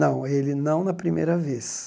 Não, ele não na primeira vez.